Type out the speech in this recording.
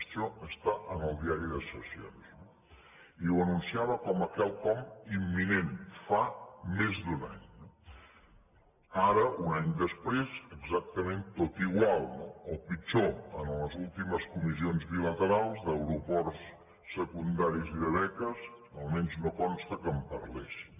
això està en el diari de sessions i ho anunciava com a quelcom imminent fa més d’un any eh ara un any després exactament tot igual no o pitjor en les últimes comissions bilaterals d’aeroports secundaris i de beques almenys no consta que en parlessin